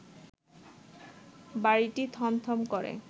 বাড়িটি থমথম করে